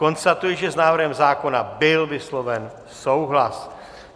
Konstatuji, že s návrhem zákona byl vysloven souhlas.